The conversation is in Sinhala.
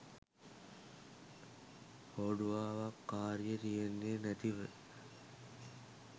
හෝඩුවාවක් කාරිය තියන්නේ නැතිව